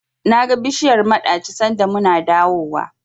Naga bishiyar maɗaci sanda muna dawowa.